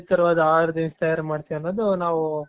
ವಿಧ ತರವಾದ ಆಹಾರ ತಿನಿಸು ತಯಾರ್ ಮಾಡ್ತೇವೆ ಅನ್ನೋದು ನಾವು